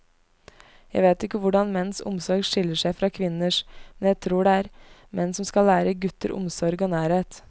Jeg vet ikke hvordan menns omsorg skiller seg fra kvinners, men jeg tror det er menn som skal lære gutter omsorg og nærhet.